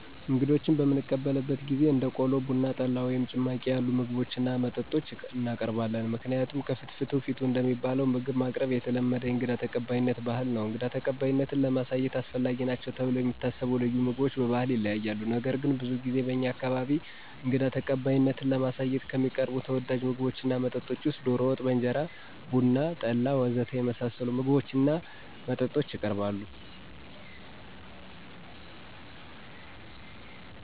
እንግዶችን በምንቀበልበት ጊዜ እንደ ቆሎ፣ ቡና፣ ጠላ ወይም ጭማቂ ያሉ ምግቦችን እና መጠጦችን እናቀርባለን። ምክንያቱም ከፍትፍቱ ፊቱ እንደሚባለው ምግብ ማቅረብ የተለመደ የእንግዳ ተቀባይነት ባህል ነው። እንግዳ ተቀባይነትን ለማሳየት አስፈላጊ ናቸው ተብለው የሚታሰቡ ልዩ ምግቦች በባህል ይለያያሉ። ነገር ግን ብዙ ጊዜ በእኛ አካባቢ እንግዳ ተቀባይነትን ለማሳየት ከሚቀርቡ ተወዳጅ ምግቦች እና መጠጦች ውስጥ ዶሮ ወጥ በእንጀራ፣ ቡና፣ ጠላ ወ.ዘ.ተ. የመሳሰሉት ምግቦች እና መጠጦች የቀርባሉ።